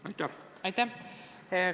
Aitäh!